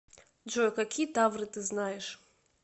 джой какие тавры ты знаешь